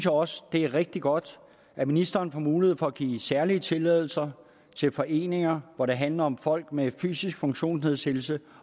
også det er rigtig godt at ministeren får mulighed for at give særlige tilladelser til foreninger hvor det handler om folk med en fysisk funktionsnedsættelse